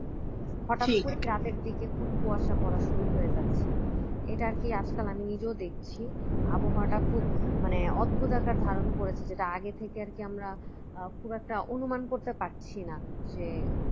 হঠাৎ করে রাতের দিকে খুব কুয়াশা পড়া শুরু হয়ে যাচ্ছে এটা আর কি আজকাল আমি নিজেও দেখছি আবহাওয়াটা খুব মানে অদ্ভুত আকার ধারণ করেছে যেটা আগে থেকে আর কি আমরা আহ খুব একটা অনুমান করতে পারছি না যে